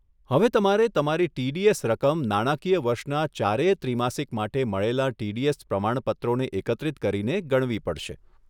હવે તમારે તમારી ટીડીએસ રકમ નાણાકીય વર્ષના ચારેય ત્રિમાસિક માટે મળેલાં ટીડીએસ પ્રમાણપત્રોને એકત્રિત કરીને ગણવી પડશે.